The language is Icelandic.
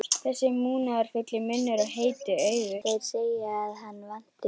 Þessi munúðarfulli munnur og heitu augu.